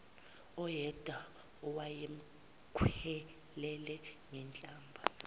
uyedwa owayemkhwelele ngenhlamba